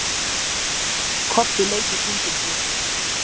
Kobbi leit í kringum sig.